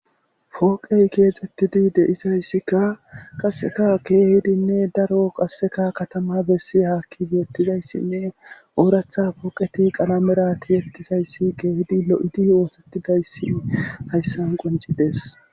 fooqey keexettidi de'izayssikka qasseka keehidinne daro qasseka katama bessi haakki beetizayssinne ooratha pooqeti qalamerati yettisayssi keehidi lo7idi oosettidayssi hayssan qoncides